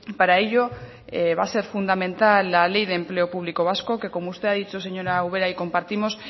para ello va a ser fundamental la ley de empleo público vasco que como usted ha dicho señora ubera y compartimos